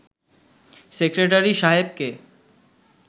secretary সাহেবকে